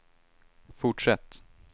fortsätt